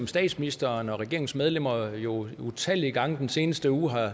statsministeren og regeringens medlemmer har jo utallige gange i den seneste uge